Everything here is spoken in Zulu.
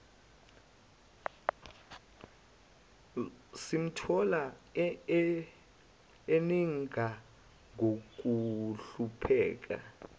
simthola eninga ngokuhlupheka